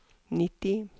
nitti